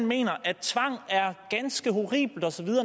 mener at tvang er ganske horribelt osv